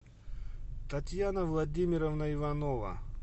татьяна владимировна иванова